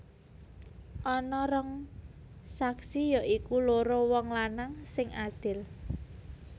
Ana rong saksi ya iku loro wong lanang sing adil